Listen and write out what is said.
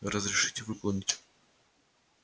разрешите выполнить